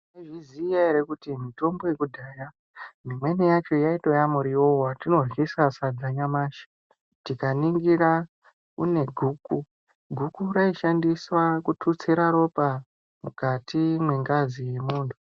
Mwaizviziya kuti mitombo yekudhaya imweni yacho yaitoiye muriwo wetinoryisa sadza nyamashi. Tikaningira kune guku. Guku raishandiswa kututsira ropa mukati mwengazi yemuntu.